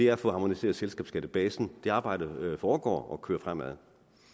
er at få harmoniseret selskabsskattebasen det arbejde foregår og kører fremad